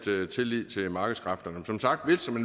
tillid til markedskræfterne